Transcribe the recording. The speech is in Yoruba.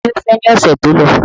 Ta ni ó fẹ́ ní ọ̀sẹ̀ tó lọ?